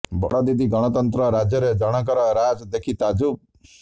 ବଡ଼ ଦିଦି ଗଣତନ୍ତ୍ର ରାଜ୍ୟରେ ଜଣଙ୍କର ରାଜ ଦେଖି ତାଜୁବ୍